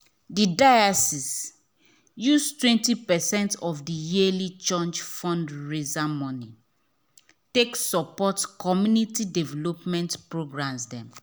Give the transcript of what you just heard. the diocese use 20 percent of the yearly church fundraiser money take support community development programs.